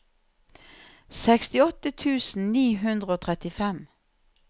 sekstiåtte tusen ni hundre og trettifem